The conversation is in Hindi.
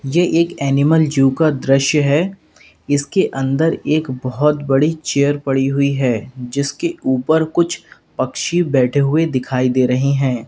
यह एक एनिमल जू का दृश्य है इसके अंदर एक बहुत बड़ी चेयर पड़ी हुई है जिसके ऊपर कुछ पक्षी बैठे हुए दिखाई दे रहे हैं।